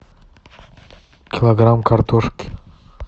килограмм картошки